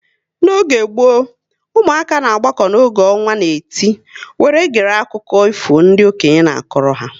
N'oge gboo, ụmụaka na agbako oge ọnwa na-eti were gere akụkọ ifo ndị okenye na-akọrọ ha